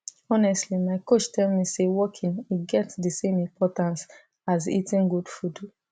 honestly my coach tell me say walking e get the same importance as eating good food